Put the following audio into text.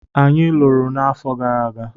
Anyị lụrụ n'afọ gara aga.